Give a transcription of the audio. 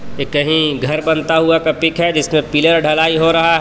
ये कहीं घर बनता हुआ का पिक है जिसमें पिलर डलाई हो रहा है।